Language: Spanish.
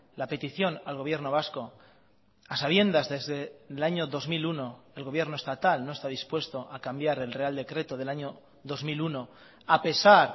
la petición al gobierno vasco a sabiendas desde el año dos mil uno el gobierno estatal no está dispuesto a cambiar el real decreto del año dos mil uno a pesar